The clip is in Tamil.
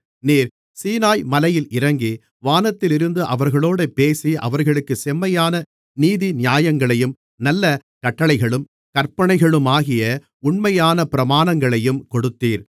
நீர் சீனாய்மலையில் இறங்கி வானத்திலிருந்து அவர்களோடே பேசி அவர்களுக்குச் செம்மையான நீதிநியாயங்களையும் நல்ல கட்டளைகளும் கற்பனைகளுமாகிய உண்மையான பிரமாணங்களையும் கொடுத்தீர்